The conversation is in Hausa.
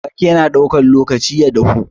Waƙe na ɗaukan lokaci ya dahu.